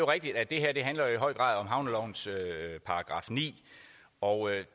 rigtigt at det her i høj grad handler om havnelovens § ni og